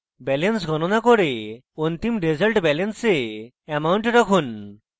balance গনণা করে অন্তিম resultbalance এ amount রাখুন